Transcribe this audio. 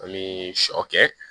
An bɛ sɔ kɛ